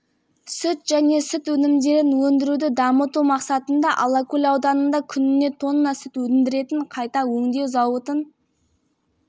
салуға және мың бас сиыр ұстауға арналған сүт тауарлық ферма құрылыын салуға кайыңды бірлесе отырып германиялық